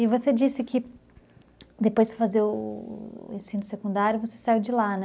E você disse que depois para fazer o o ensino secundário, você saiu de lá, né?